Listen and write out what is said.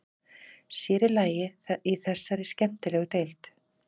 Sér í lagi í þessari skemmtilegu deild.